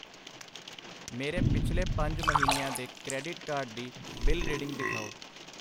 ਮੇਰੇ ਪਿਛਲੇ ਪੰਜ ਮਹੀਨਿਆਂ ਦੇ ਕਰੇਡਿਟ ਕਾਰਡ ਦੀ ਬਿਲ ਰੀਡਿੰਗ ਦਿਖਾਓ।